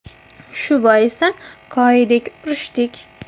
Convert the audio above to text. Shu boisdan koyidik, urishdik.